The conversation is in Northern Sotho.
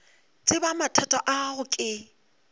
tseba mathata a gago ke